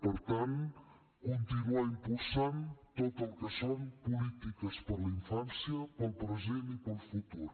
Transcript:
per tant continuar impulsant tot el que són polítiques per la infància pel present i pel futur